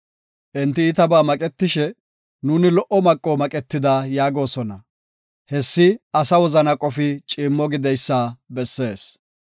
Enti iitabaa maqetishe, “Nuuni lo77o maqo maqetida” yaagosona; Hessi asa wozana qofi ciimmo gideysa bessees.